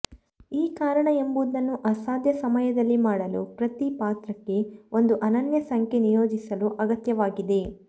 ಈ ಕಾರಣ ಎಂಬುದನ್ನು ಅಸಾಧ್ಯ ಸಮಯದಲ್ಲಿ ಮಾಡಲು ಪ್ರತಿ ಪಾತ್ರಕ್ಕೆ ಒಂದು ಅನನ್ಯ ಸಂಖ್ಯೆ ನಿಯೋಜಿಸಲು ಅಗತ್ಯವಾಗಿದೆ